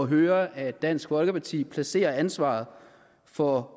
høre at dansk folkeparti placerer ansvaret for